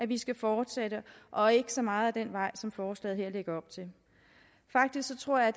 vi skal fortsætte ad og ikke så meget ad den vej som forslaget her lægger op til faktisk tror jeg